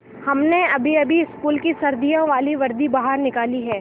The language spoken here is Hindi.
हमने अभीअभी स्कूल की सर्दियों वाली वर्दी बाहर निकाली है